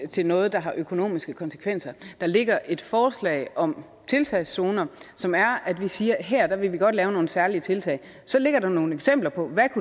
til noget der har økonomiske konsekvenser der ligger et forslag om tiltagszoner som er at vi siger at her vil vi godt lave nogle særlige tiltag så ligger der nogle eksempler på hvad